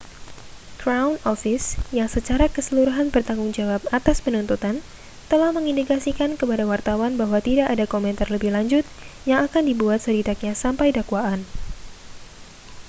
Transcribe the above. crown office yang secara keseluruhan bertanggung jawab atas penuntutan telah mengindikasikan kepada wartawan bahwa tidak ada komentar lebih lanjut yang akan dibuat setidaknya sampai dakwaan